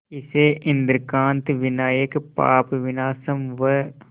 इसे इंद्रकांत विनायक पापविनाशम व